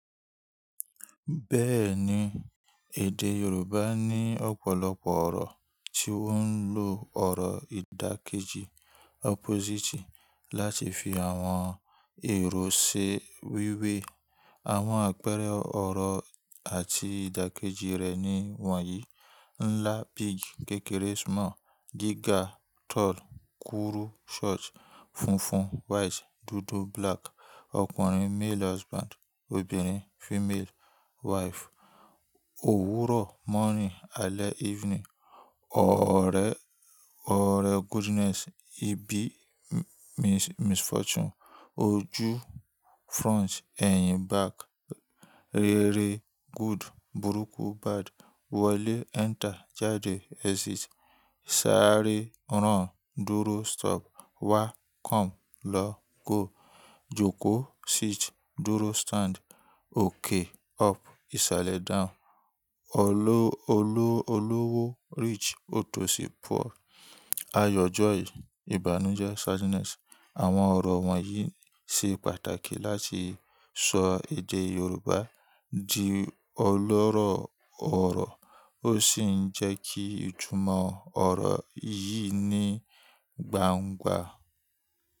Bẹ́ẹ̀ni, èdè Yorùbá ní ọ̀pọ̀lọpọ̀ ọ̀rọ̀ tí wọ́n ń lò ọ̀rọ̀ ìdàkejì opposite láti fi àwọn èrò ṣe wíwé. Àwọn àpẹẹrẹ ọ̀rọ̀ àti ìdàkejì rẹ̀ ni wọ̀nyí: ńlá-big, kékeré-small, gíga-tall, kúrú-short, funfun-white, dúdú-black, ọkùnrin-male husband, obìnrin-female wife, òwúrọ̀-morning, alẹ́-evening, ọ̀rẹ́-goodness, ibi means misfortune, ojú-front, ẹ̀yìn-back, rere-good, burúkú-bad, wọlé-enter, jáde-exit, sáré-run, dúró-stop, wá-come, lọ-go, jókòó-sit, dúró-stand, òkè-up, ìsàlẹ̀-down, olówó-rich, òtòṣì-poor, ayọ̀-joy, ìbànújẹ́-sadness. Àwọn ọ̀rọ̀ wọ̀nyí ṣe pàtàkì láti ṣọ èdè Yorùbá di ọlọ́rọ̀ ọ̀rọ̀ ó sì ń jẹ́ kí ìtúmọ̀ ọ̀rọ̀ yìí ní gbangba.